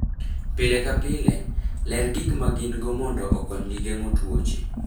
Pile ka pile, ler gik ma gin-go mondo okonygi geng'o tuoche.